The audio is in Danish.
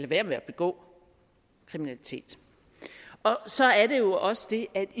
være med at begå kriminalitet så er det jo også